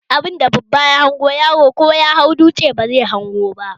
Abunda babba ya hango, yaro ko ya hau dutse ba zai hango ba